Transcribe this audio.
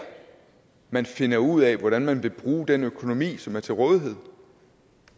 man finder ud af hvordan man vil bruge den økonomi som er til rådighed